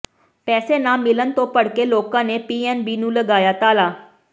ਪੈਸੇ ਨਾ ਮਿਲਣ ਤੋਂ ਭੜਕੇ ਲੋਕਾਂ ਨੇ ਪੀਐੱਨਬੀ ਨੂੰ ਲਗਾਇਆ ਤਾਲਾ